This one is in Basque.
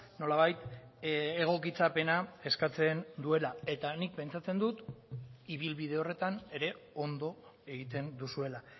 nolabait egokitzapena eskatzen duela eta nik pentsatzen dut ibilbide horretan ere ondo egiten duzuela